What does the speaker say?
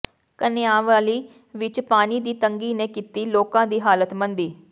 ਕਾਨਿਆਂਵਾਲੀ ਵਿੱਚ ਪਾਣੀ ਦੀ ਤੰਗੀ ਨੇ ਕੀਤੀ ਲੋਕਾਂ ਦੀ ਹਾਲਤ ਮੰਦੀ